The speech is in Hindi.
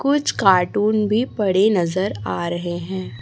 कुछ कार्टून भी पड़े नजर आ रहे हैं।